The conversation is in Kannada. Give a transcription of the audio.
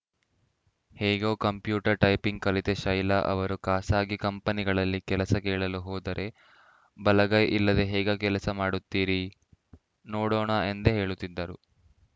ಹೇಗೋ ಕಂಪ್ಯೂಟರ್ ಟೈಪಿಂಗ್‌ ಕಲಿತ ಶೈಲಾ ಅವರು ಖಾಸಗಿ ಕಂಪನಿಗಳಲ್ಲಿ ಕೆಲಸ ಕೇಳಲು ಹೋದರೆ ಬಲಗೈ ಇಲ್ಲದೆ ಹೇಗೆ ಕೆಲಸ ಮಾಡುತ್ತೀರಿ ನೋಡೋಣ ಎಂದೇ ಹೇಳುತ್ತಿದ್ದರು